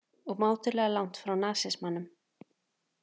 Og mátulega langt frá nasismanum